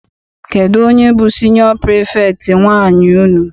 Kedụ onye bụ siniọ pirifektị nwaanyị unu?